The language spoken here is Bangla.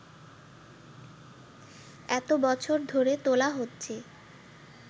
এতো বছর ধরে তোলা হচ্ছে